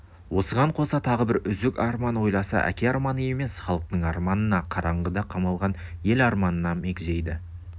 осыған қоса тағы бір үзік арман ойласа әке арманы емес халық арманына қараңғыда қамалған ел арманына мегзейді